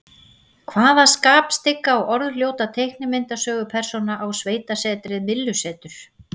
Hvaða skapstygga og orðljóta teiknimyndasögupersóna á sveitasetrið Myllusetur?